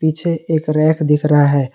पीछे एक रैक दिख रहा है।